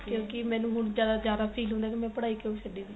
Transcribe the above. ਕਿਉ ਕਿ ਮੈਨੂੰ ਹੁਣ ਜਿਆਦਾ feel ਹੁੰਦਾ ਕੀ ਮੈਂ ਪੜਾਈ ਕਿਉ ਛਡੀ ਸੀ